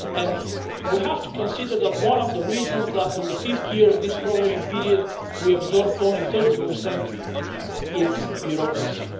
And we have to consider that one of the reasons that in the fifth year of this programing period we absorbed only 30 is because of bureaucracy.